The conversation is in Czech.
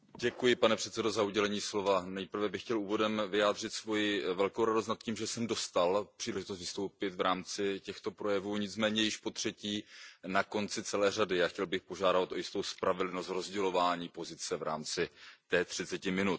Pane předsedající, nejprve bych chtěl úvodem vyjádřit svoji velkou radost nad tím, že jsem dostal příležitost vystoupit v rámci těchto projevů, nicméně již potřetí na konci celé řady, a chtěl bych proto požádat o jistou spravedlnost v rozdělování pozice v rámci těch třiceti minut.